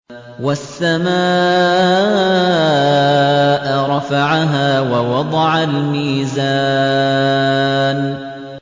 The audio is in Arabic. وَالسَّمَاءَ رَفَعَهَا وَوَضَعَ الْمِيزَانَ